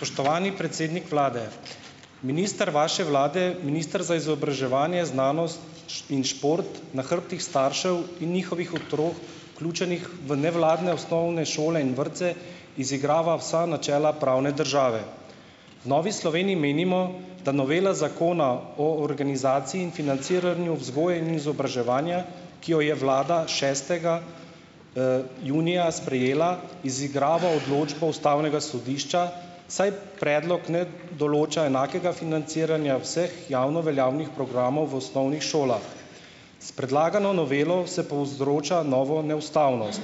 Spoštovani predsednik vlade. Minister vaše vlade, minister za izobraževanje, znanost in šport na hrbtih staršev in njihovih otrok, vključenih v nevladne osnovne šole in vrtce, izigrava vsa načela pravne države. V Novi Sloveniji menimo, da novela Zakona o organizaciji in financiranju vzgoje in izobraževanja, ki jo je vlada šestega, junija sprejela, izigrava odločbo ustavnega sodišča, saj predlog ne določa enakega financiranja vseh javno veljavnih programov v osnovnih šolah . S predlagano novelo se povzroča novo neustavnost .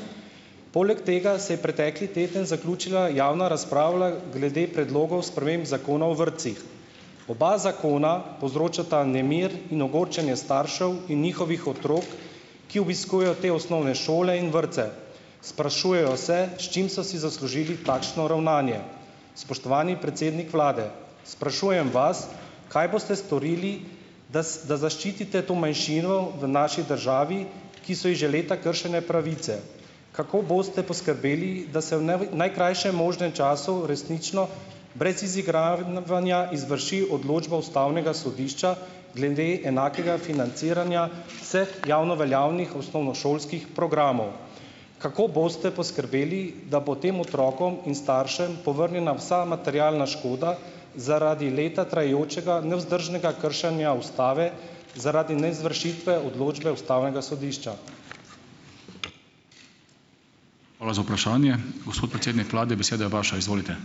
Poleg tega se je pretekli teden zaključila javna razprava glede predlogov sprememb Zakona o vrtcih. Oba zakona povzročata nemir in ogorčenje staršev in njihovih otrok , ki obiskujejo te osnovne šole in vrtce. Sprašujejo se , s čim so si zaslužili takšno ravnanje . Spoštovani predsednik vlade. Sprašujem vas, kaj boste storili, da zaščitite to manjšino v naši državi, ki so ji že leta kršene pravice. Kako boste poskrbeli, da se v najkrajšem možnem času uresničilo, brez izigravanja izvrši odločba ustavnega sodišča glede enakega financiranja vseh javno veljavnih osnovnošolskih programov? Kako boste poskrbeli, da bo tem otrokom in staršem povrnjena vsa materialna škoda zaradi leta trajajočega nevzdržnega kršenja ustave zaradi neizvršitve odločbe ustavnega sodišča? Hvala za vprašanje. Gospod predsednik vlade, beseda je vaša, izvolite.